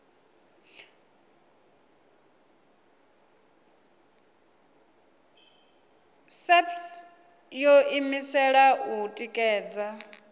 saps yo ḓiimisela u ṅekedza